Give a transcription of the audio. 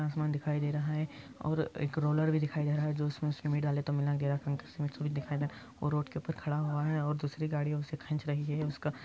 आसमान दिखाई दे रहा हे और एक रोलर भी दिखाई दे रहा हे जो इसमें सिमेंट डाले तो मिलेंगे दिखाई दे और रोड के उपर खड़ा हुआ हे और दूसरी गाड़िया उसे खिच रही हे |